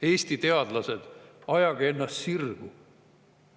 Eesti teadlased, ajage ennast sirgu!